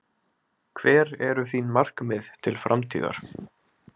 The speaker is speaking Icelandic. Hver eru þín markmið til framtíðar?